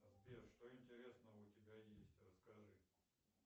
сбер что интересного у тебя есть расскажи